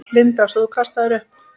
Linda: Svo þú kastaðir upp?